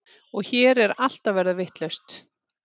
Og hér er allt að verða vitlaust.